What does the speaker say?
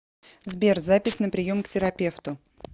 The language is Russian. сбер запись на прием к терапевту